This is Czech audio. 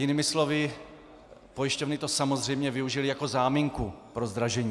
Jinými slovy, pojišťovny to samozřejmě využily jako záminku pro zdražení.